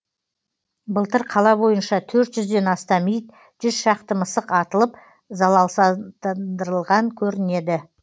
былтыр қала бойынша төрт жүзден астам ит жүз шақты мысық атылып залалсыздандырылған көрінеді